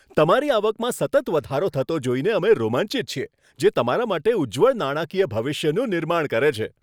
તમારી આવકમાં સતત વધારો થતો જોઈને અમે રોમાંચિત છીએ, જે તમારા માટે ઉજ્જવળ નાણાકીય ભવિષ્યનું નિર્માણ કરે છે!